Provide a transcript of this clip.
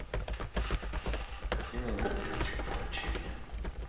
картина интердевочка включи мне